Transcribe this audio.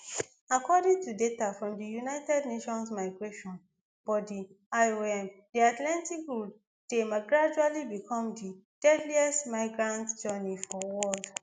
according to data from di united nations migration body iom di atlantic route dey gradually become di deadliest migrant journey for world